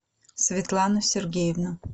светлану сергеевну